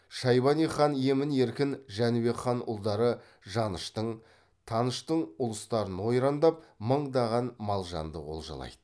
шайбани хан емін еркін жәнібек хан ұлдары жаныштың таныштың ұлыстарын ойрандап мыңдаған мал жанды олжалайды